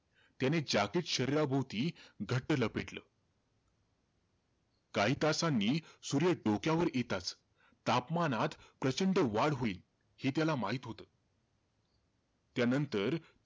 त्याने jacket शरीराभोवती घट्ट लपेटलं. काही तासांनी, सूर्य डोक्यावर येताचं, तापमनात प्रचंड वाढ होईल, हे त्याला माहित होतं. त्यानंतर,